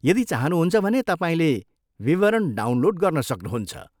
यदि चाहनुहुन्छ भने, तपाईँले विवरण डाउनलोड गर्न सक्नुहुन्छ।